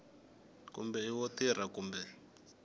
kumbe i wo riha kumbe